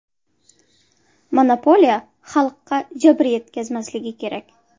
Monopoliya xalqqa jabr yetkazmasligi kerak.